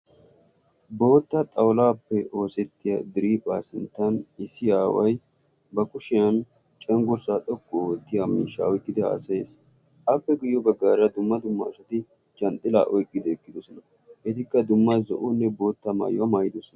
bootta xawulaappe oosettiya driihphaa sinttan issi aaway ba kushiyan canggossaa xokku oottiya miisha oyiqqidi haasayees. appe guyyo baggaara dumma dumma asati canxxila oyqqide eqqidosona. Etikka dumma zo'onne bootta maayuwaa maayidosona.